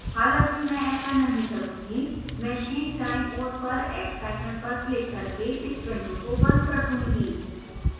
हालाँकि मैं ऐसा नहीं करूँगी मैं शीर्ष दाईं ओर पर x icon पर क्लिक करके इस window को बंद कर दूंगी